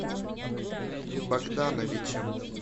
богдановичем